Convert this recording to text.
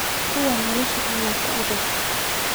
Kuwan nolosha aya kuadag.